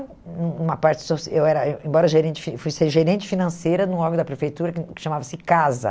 Num uma parte soci, eu era eh embora gerente, eu fui ser gerente financeira num órgão da prefeitura que chamava-se CASA.